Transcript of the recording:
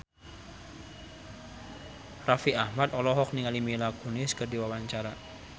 Raffi Ahmad olohok ningali Mila Kunis keur diwawancara